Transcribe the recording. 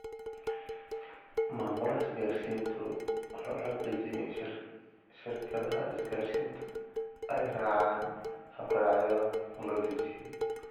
Maamulaha isgaarsiintu wuxuu xaqiijiyaa in shirkadaha isgaarsiintu ay raacaan habraacyada loo dejiyay.